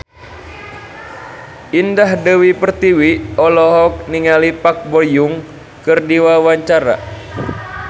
Indah Dewi Pertiwi olohok ningali Park Bo Yung keur diwawancara